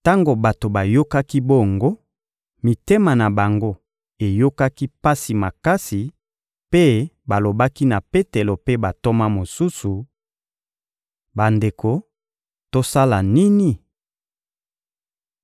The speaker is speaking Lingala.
Tango bato bayokaki bongo, mitema na bango eyokaki pasi makasi mpe balobaki na Petelo mpe bantoma mosusu: — Bandeko, tosala nini?